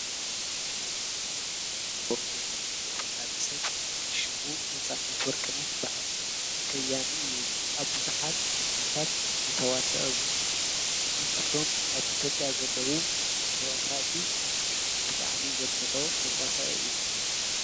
ትተፈለጥቲ ሰባት ኣብ ሕብረተሰብ ዝተፈለጡን ዝኽበሩን ሰባት እዮም። ታዋቂ መሪዎችን ኣባቶችን ንሕዝቦም መርሓ ይሃቡን ኣብነት ይኾኑን። ግብሮምን ሓሳባቶምን ንትውልዲ ይጽልዉ።